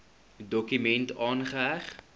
dokument aangeheg